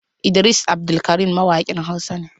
Idris Abdulkarim mawakin hausa ne.